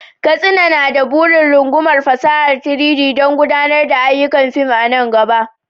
Katsina na da burin rungumar fasahar 3-D don gudanar da ayyukan fim a nan gaba.